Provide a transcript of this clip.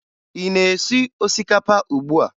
Ị na-esi osikapa ugbua?